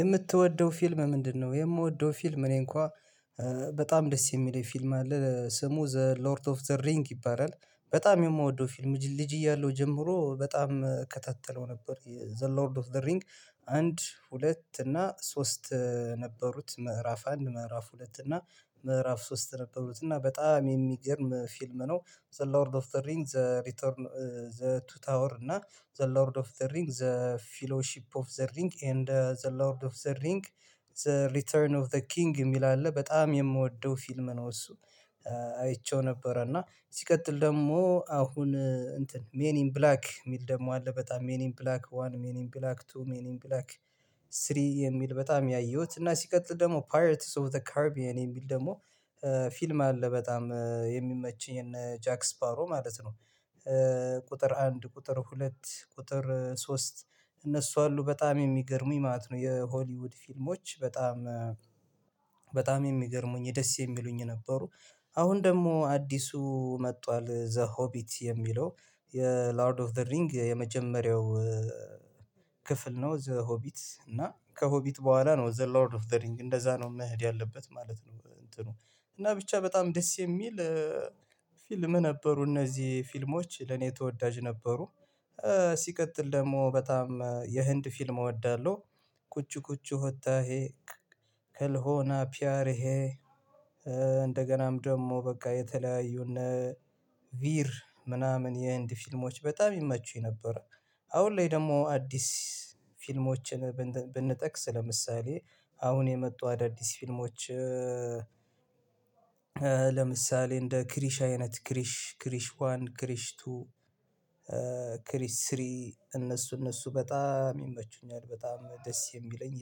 የምትወደው ፊልም ምንድነው? የምወደው ፊልም እኔ እንኳ በጣም ደስ የሚለኝ ፊልም አለ ስሙ ዝ ሎርድ ኦፍ ዘ ሪንግ ይባላል። በጣም የምወደው ፊልም ልጅ እያለሁ ጀምሮ በጣም እከታተለው ነበር ዘ ሎርድ ኦፍ ዘ ሪንግ አንድ ሁለት እና ሶስት ነበሩት ምዕራፍ አንድ ምዕራፍ ሁለት እና ምዕራፍ ሶስት ነበሩት እና በጣም የሚገርም ፊልም ነው። ዘ ሎርድ ኦፍ ዘ ሪንግ ዘ ሪተርን ዘ ቱ ታወር እና ዘ ሎርድ ኦፍ ዘ ሪንግ ዘ ፊሎሺፕ ኦፍ ዘ ሪንግ ኤንድ ዘ ሎርድ ኦፍ ዘ ሪንግ ዘ ሪተርን ኦፍ ዘ ኪንግ የሚል አለ በጣም የምወደው ፊልም ነው። እሱ አይቼው ነበር እና ሲቀጥል ደግሞ አሁን እንትን ሜን ኢን ብላክ የሚል ደግሞ አለ በጣም ሜን ኢን ብላክ ዋን ሚኒም ብላክ ቱ ሚኒም ብላክ። ስሪ የሚል በጣም ያየሁት እና ሲቀጥል ደግሞ ፓርትስ ኦፍ ዘ ካረብያን የሚል ደግሞ ፊልም አለ በጣም የሚመችኝን ጃክስፓሮ ማለት ነው። አንድ ቁጥር ሁለት ቁጥር ሶስት እነሱ አሉ በጣም የሚገርሙኝ ማለት ነው። የሆሊውድ ፊልሞች በጣም በጣም የሚገርሙኝ የደስ የሚሉኝ ነበሩ። አሁን ደግሞ አዲሱ መጥቷል ዘ ሆቢት የሚለው የላርድ ኦፍ ዘ ሪንግ የመጀመሪያው ክፍል ነው። ዘ ሆቢት እና ከሆቢት በኋላ ነው ዘ ሎርድ ኦፍ ዘ ሪንግ እንደዛ ነው መሄድ ያለበት ማለት ነው። እንትኑ እናጰብቻ በጣም ደስ የሚል ፊልም ነበሩ እነዚህ ፊልሞች ለኔ ተወዳጅ ነበሩ። ሲቀጥል ደግሞ በጣም የህንድ ፊልም እወዳለሁ። ኩች ኩች ወጣሄ ክልሆና ፒያርሄ እንደገናም ደግሞ በቃ የተለያዩ እነ ቪር ምናምን የህንድ ፊልሞች በጣም ይመቹኝ ነበር። አሁን ላይ ደግሞ አዲስ ፊልሞችን ብንጠቅስ ለምሳሌ አሁን የመጡ አዳዲስ ፊልሞች ለምሳሌ እንደ ክሪሽ አይነት ክሪሽ ክሪሽ ዋን ክሪሽ ቱ ክሪሽ ስሪ እነሱ እነሱ በጣም ይመቹኛል በጣም ደስ የሚለኝ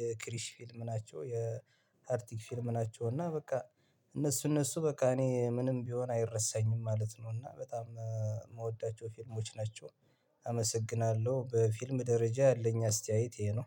የክሪሽ ፊልም ናቸው። የአርቲክ ፊልም ናቸው እና በቃ እነሱ እነሱ በቃ እኔ ምንም ቢሆን አይረሳኝም ማለት ነው። እና በጣም የምወዳቸው ፊልሞች ናቸው። አመሰግናለሁ በፊልም ደረጃ ያለኝ አስተያየት ይሄ ነው።